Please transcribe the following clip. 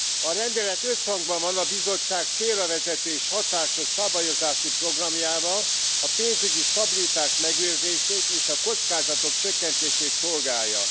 A rendelet összhangban van a Bizottság célravezető és hatásos szabályozási programjával, a pénzügyi stabilitás megőrzését és a kockázatok csökkentését szolgálja.